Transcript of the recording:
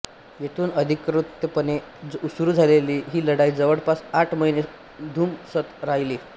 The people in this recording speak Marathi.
येथून अधिकृतपणे सुरू झालेली ही लढाई जवळपास आठ महिने धुमसत राहिली